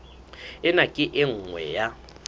ena ke e nngwe ya